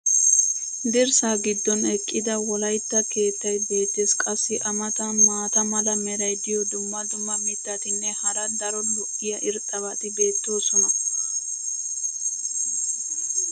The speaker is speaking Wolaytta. dirssaa giddon eqqida wolaytta keettay beetees. qassi a matan maata mala meray diyo dumma dumma mitatinne hara daro lo'iya irxxabati beetoosona.